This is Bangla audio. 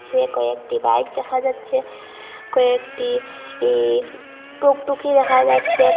এ কয়েকটি বাইক দেখা যাচ্ছে কয়েকটি ইস টুকটুকি দেখা যাচ্ছে ক।